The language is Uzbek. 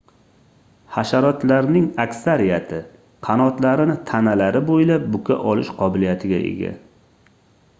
hasharotlarning aksariyati qanotlarini tanalari boʻylab buka olish qobiliyatiga ega